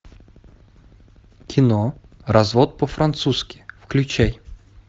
кино развод по французски включай